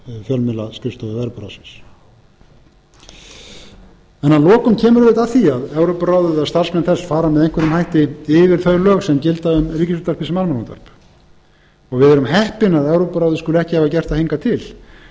fjölmiðlaskrifstofu evrópuráðsins að lokum kemur auðvitað að því að evrópuráðið eða starfsmenn þess fara með einhverjum hætti yfir þau lög sem gilda um ríkisútvarpið sem almannaútvarp við erum heppin að evrópuráðið skuli ekki hafa gert það hingað til